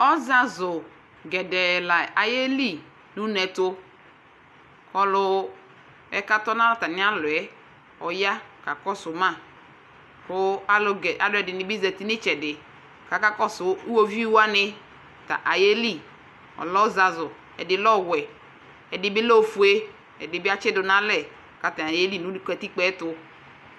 Ɔzazʋ gɛdɛɛ la ayeli nʋ une ɛtʋ kʋ ɔlʋ yɛ kʋ atɔ nʋ atamɩalɔ yɛ ɔya kakɔsʋ ma Kʋ alʋ gɛ alʋ ɛdɩnɩ bɩ zati nʋ ɩtsɛdɩ kʋ akakɔsʋ iɣoviu wanɩ tɛ ayele Ɔlɛ ɔzazʋ, ɛdɩ lɛ ɔwɛ, ɛdɩ bɩ lɛ ofue, ɛdɩ bɩ atsɩdʋ nʋ alɛ kʋ atanɩ ayeli nʋ katikpo yɛ ɛtʋ